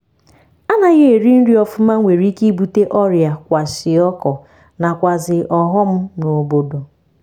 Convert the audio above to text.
anaghi eri nri ọfụma nwere ike ibute oria-kwashiọkọ nakwazi ọghọm na obodo.